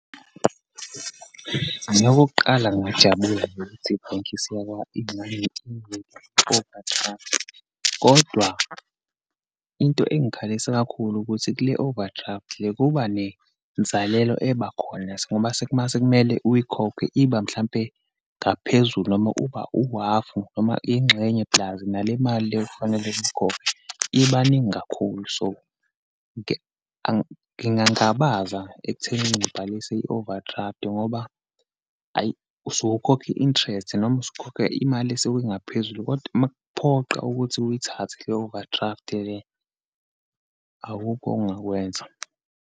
Mina okukuqala, ngingajabula nje ukuthi ibhenki overdraft, kodwa into engikhalisa kakhulu ukuthi kule-overdraft le kuba nenzalelo ebakhona. Uma uma sekumele uyikhokhe iba, mhlampe ngaphezulu noma uba uhafu noma ingxenye puls nale mali le okufanele uyikhokhe, ibaningi kakhulu. So, ngingangaba ekuthenini ngibhalise i-overdraft ngoba, ayi usuke ukhokha i-interest, noma usukukhokha imali esingaphezulu. Kodwa, uma kuphoqa ukuthi uyithathe le overdraft le, awukho ongakwenza.